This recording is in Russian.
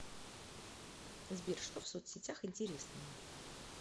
сбер что в соцсетях интересного